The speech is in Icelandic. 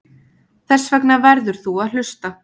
Þessvegna verður þú að hlusta.